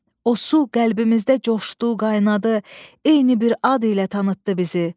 O su qəlbimizdə coşdu, qaynadı, eyni bir ad ilə tanıtdı bizi.